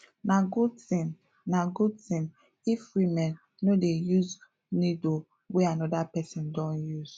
na good thing na good thing if woman no dey use needle wey another person don use